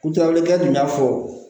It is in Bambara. kɛ tun y'a fɔ